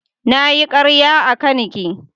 Na yi karya a kan ki.